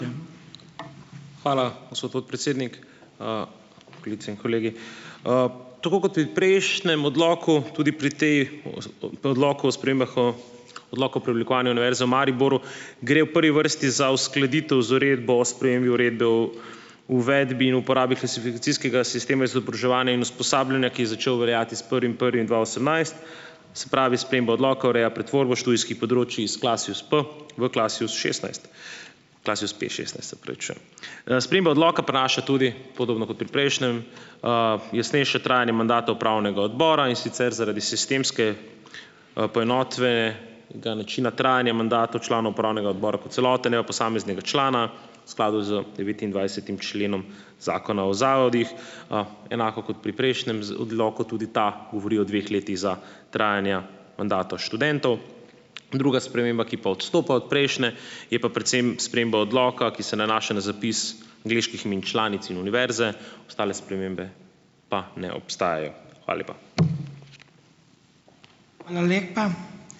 Hvala, gospod podpredsednik. Kolegice in kolegi! Tako kot pri prejšnjem odloku tudi pri tej, o predlogu o spremembah odloka o preoblikovanju Univerze v Mariboru gre v prvi vrsti za uskladitev z uredbo o spremembi Uredbe o uvedbi in uporabi klasifikacijskega sistema izobraževanja in usposabljanja, ki je začel veljati s prvim prvim dva osemnajst. Se pravi, sprememba odloka ureja pretvorbo študijskih področij iz KLASIUS-P v KLASIUS-šestnajst, KLASIUS-P-šestnajst, se opravičujem. Sprememba odloka prinaša tudi, podobno kot pri prejšnjem, jasnejše trajanje mandata upravnega odbora, in sicer zaradi sistemske, ga načina trajanja mandatov članov upravnega odbora kot celote, ne pa posameznega člana, v skladu z devetindvajsetim členom zakona o zavodih; enako kot pri prejšnjem odloku tudi ta govori o dveh letih za trajanja mandatov študentov. Druga sprememba, ki pa odstopa od prejšnje, je pa predvsem sprememba odloka, ki se nanaša na zapis angleških imen članic in univerze, ostale spremembe pa ne obstajajo. Hvala lepa.